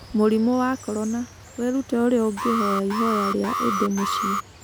Mũrimũ wa Korona: Wĩrute ũrĩa ũngĩhoya ihoya rĩa Idi mũciĩ